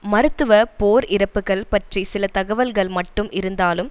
மருத்துவ போர் இறப்புக்கள் பற்றி சில தகவல்கள் மட்டும் இருந்தாலும்